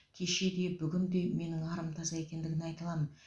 кеше де бүгін де менің арым таза екендігін айта аламын